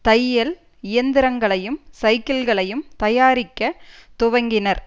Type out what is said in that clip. தையல் இயந்திரங்களையும் சைக்கிள்களையும் தயாரிக்க துவங்கினர்